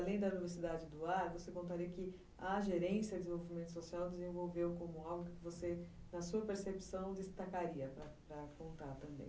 Além da velocidade do ar, você contaria que a gerência de desenvolvimento social desenvolveu como algo que você, na sua percepção, destacaria para para contar também.